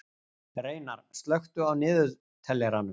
Reynar, slökktu á niðurteljaranum.